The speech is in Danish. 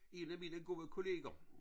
En af mine gode kolleger